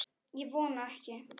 Ég vona ekki